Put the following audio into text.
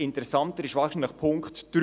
Interessanter ist wahrscheinlich Punkt 3: